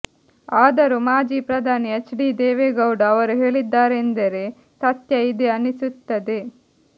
ಆದರೂ ಮಾಜಿ ಪ್ರಧಾನಿ ಎಚ್ ಡಿ ದೇವೇಗೌಡ ಅವರು ಹೇಳಿದ್ದಾರೆಂದರೇ ಸತ್ಯ ಇದೆ ಅನ್ನಿಸುತ್ತದೆ